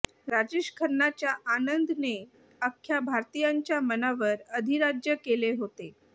राजेश खन्नाच्या आनंद ने अख्या भारतीयांच्या मनावर अधिराज्य केले होते